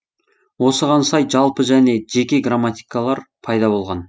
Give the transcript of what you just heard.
осыған сай жалпы және жеке грамматикалар пайда болған